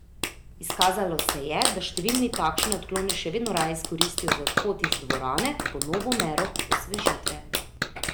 Izkazalo se je, da številni takšne odklone še vedno raje izkoristijo za odhod iz dvorane po novo mero osvežitve.